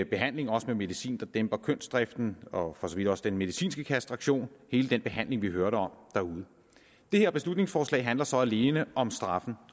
behandling også med medicin der dæmper kønsdriften og for så vidt også den medicinske kastration hele den behandling vi hørte om derude det her beslutningsforslag handler så alene om straffen